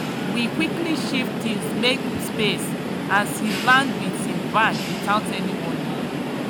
we quickly shift things make space as he land with him bag without any warning.